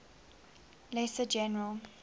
lesser general